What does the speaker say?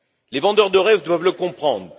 Les vendeurs de rêves doivent le comprendre.